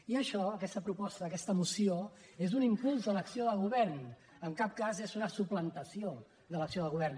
i això aquesta proposta aquesta moció és un impuls a l’acció del govern en cap cas és una suplantació de l’acció de govern